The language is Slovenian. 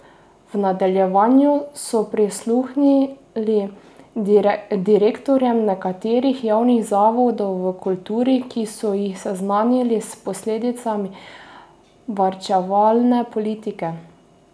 V nadaljevanju so prisluhnili direktorjem nekaterih javnih zavodov v kulturi, ki so jih seznanili s posledicami varčevale politike.